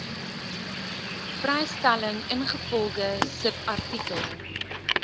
vrystelling ingevolge subartikel